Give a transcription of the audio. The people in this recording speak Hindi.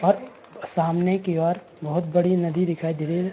और सामने की ओर बहोत बड़ी नदी दिखाई दे रही है।